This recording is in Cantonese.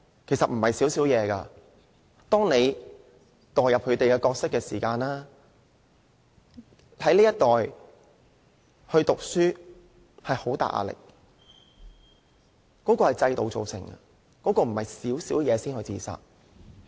其實並非"小小事"，當你代入他們的角色，便明白這一代人讀書有很大壓力，這是制度造成的，並非"小小事"便自殺。